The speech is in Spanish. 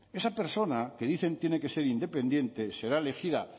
esa persona que dicen tiene que ser independiente será elegida